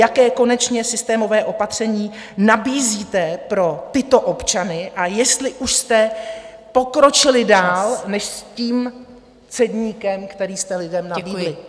Jaké konečně systémové opatření nabízíte pro tyto občany a jestli už jste pokročili dál než s tím "cedníkem", který jste lidem nabídli.